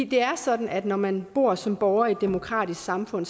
det er sådan at når man bor som borger i et demokratisk samfund